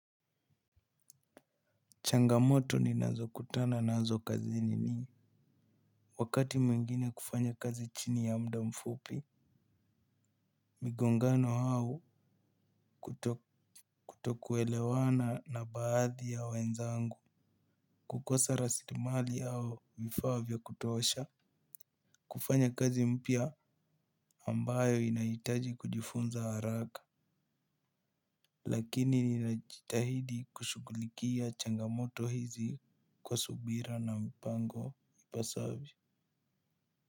Changamoto ninazokutana nazo kazini ni wakati mwingine kufanya kazi chini ya muda mfupi migongano au kutokuelewana na baadhi ya wenzangu kukosa rasilimali au vifaa vya kutosha kufanya kazi mpya ambayo inahitaji kujifunza haraka. Lakini ninajitahidi kushughulikia changamoto hizi kwa subira na mpango ipasavyo.